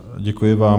Děkuji vám.